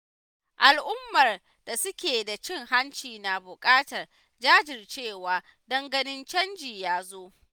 Al'ummar da suke da cin hanci na buƙatar jajircewa don ganin canji ya zo.